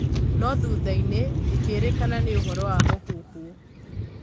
No-thuthainĩ ikĩrĩkana nĩ ũhoro wa mũhuhu.